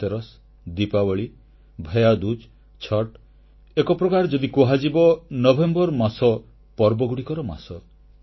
ଧନତେରସ୍ ଦୀପାବଳି ଭୈୟାଦୂଜ୍ ଛଠ୍ ଏକ ପ୍ରକାରେ ଯଦି କୁହାଯିବ ନଭେମ୍ବର ମାସ ପର୍ବଗୁଡ଼ିକର ମାସ